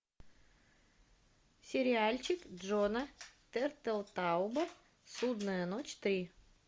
сериальчик джона тертелтауба судная ночь три